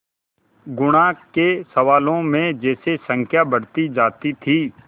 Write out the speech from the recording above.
गुणा के सवालों में जैसे संख्या बढ़ती जाती थी